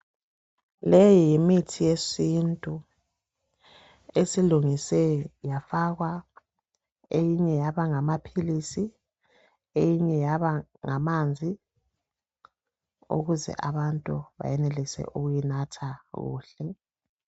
Leyi yimithi yesintu esilungiswe yafakwa, eyinye yaba ngamapilisi, eyinye yaba nganzi ukuze abantu benelise kuyinatha kuhle.